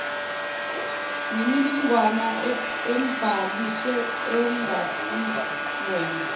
mininingwane ambhalise ongesilona